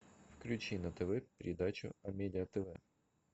включи на тв передачу амедиа тв